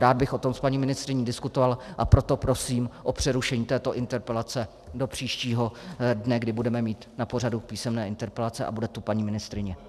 Rád bych o tom s paní ministryní diskutoval, a proto prosím o přerušení této interpelace do příštího dne, kdy budeme mít na pořadu písemné interpelace a bude tu paní ministryně.